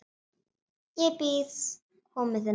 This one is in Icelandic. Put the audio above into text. Ég bíð komu þinnar.